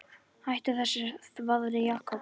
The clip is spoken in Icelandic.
Hættu þessu þvaðri, Jakob.